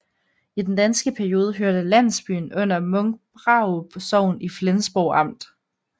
I den danske periode hørte landsbyen under Munkbrarup Sogn i Flensborg Amt